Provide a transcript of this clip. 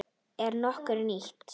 Er nokkuð nýtt?